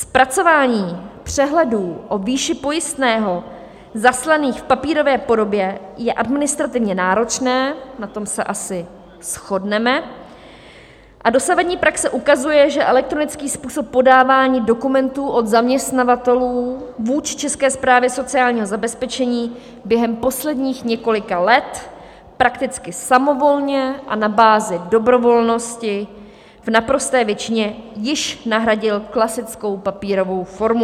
Zpracování přehledů o výši pojistného zaslaných v papírové podobě je administrativně náročné, na tom se asi shodneme, a dosavadní praxe ukazuje, že elektronický způsob podávání dokumentů od zaměstnavatelů vůči České správě sociálního zabezpečení během posledních několika let prakticky samovolně a na bázi dobrovolnosti v naprosté většině již nahradil klasickou papírovou formu.